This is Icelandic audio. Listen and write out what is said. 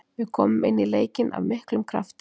Við komum inn í leikinn af miklum krafti.